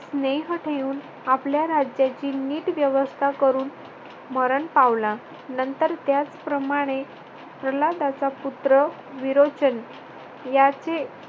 स्नेह ठेवून आपल्या राज्याची नीट व्यवस्था करून मरण पावला. नंतर त्याचप्रमाणे प्रल्हादाचा पुत्र विरोचन याचे